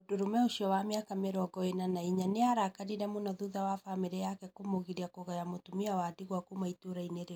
Mũndũrũme ũcio wa mĩaka mĩrongo ĩna na inya nĩ arakarire mũno thutha wa bamirĩ yake kũmũgiria kũgaya mũtumia wa ndigwa kuuma ĩtũũra-inĩ rĩu.